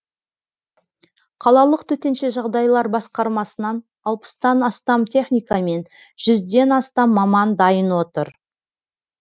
қалалық төтенше жағдайлар басқармасынан алпыстан астам техника мен жүзден астам маман дайын отыр